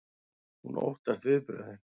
Hún óttast viðbrögðin.